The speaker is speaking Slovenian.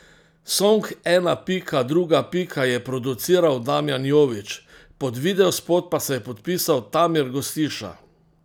Song Ena Pika Druga Pika je produciral Damjan Jovič, pod videospot pa se je podpisal Tamir Gostiša.